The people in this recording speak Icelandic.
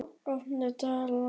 Beitir, opnaðu dagatalið mitt.